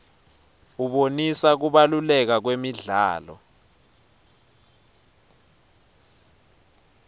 abonisa kubaluleka kwemidlalo